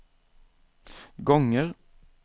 gånger